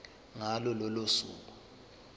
ngalo lolo suku